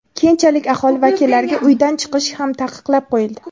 Keyinchalik aholi vakillariga uydan chiqish ham taqiqlab qo‘yildi.